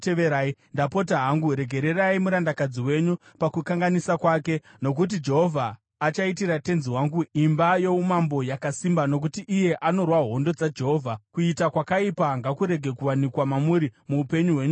Ndapota hangu regererai murandakadzi wenyu pakukanganisa kwake, nokuti Jehovha achaitira tenzi wangu imba youmambo yakasimba, nokuti iye anorwa hondo dzaJehovha. Kuita kwakaipa ngakurege kuwanikwa mamuri muupenyu hwenyu hwose.